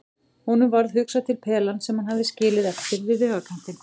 Honum varð hugsað til pelans sem hann hafði skilið eftir við vegarkantinn.